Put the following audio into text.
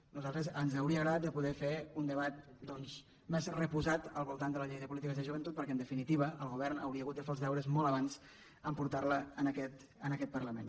a nosaltres ens hauria agradat de poder fer un debat doncs més reposat al voltant de la llei de polítiques de joventut perquè en definitiva el govern hauria hagut de fer els deures molt abans portant la a aquest parlament